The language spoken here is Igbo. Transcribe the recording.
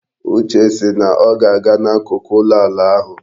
Uche si na ọ ga-aga n'akụkụ ụlọ ala ahụ.